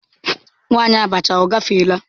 Nwanyi abacha ogafeela?